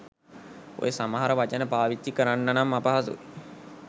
ඔය සමහර වචන පාවිච්චි කරන්නනම් අපහසුයි